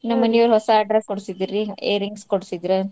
ನಮ್ ಮನಿಯೋರ್ ಹೊಸಾ dress ಕೊಡ್ಸಿದ್ರ ರೀ ear rings ಕೊಡ್ಸಿದ್ರ.